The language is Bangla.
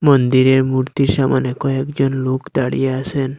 মন্দিরের মূর্তি সামনে কয়েকজন লোক দাঁড়িয়ে আছেন।